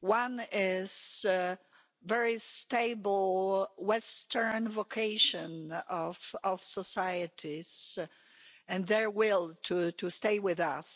One is the very stable Western vocation of societies and their will to stay with us.